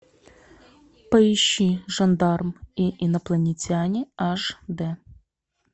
поищи жандарм и инопланетяне аш д